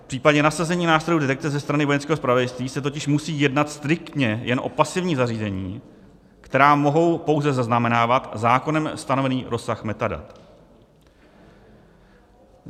V případě nasazení nástrojů detekce ze strany Vojenského zpravodajství se totiž musí jednat striktně jen o pasivní zařízení, která mohou pouze zaznamenávat zákonem stanovený rozsah metadat.